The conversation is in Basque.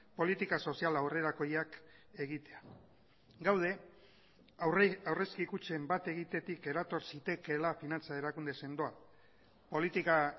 politika soziala aurrerakoiak egitea gaude aurrezki kutxen bat egitetik erator zitekeela finantza erakunde sendoa politika